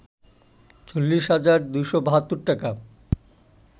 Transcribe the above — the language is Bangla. ৪০ হাজার ২৭২ টাকা